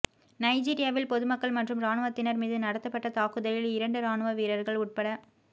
நைஜீரியாவில் பொதுமக்கள் மற்றும் இராணுவத்தினர் மீது நடத்தப்பட்ட தாக்குதலில் இரண்டு இராணுவ வீரர்கள் உட